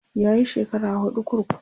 yayi shekara huɗu kurkuku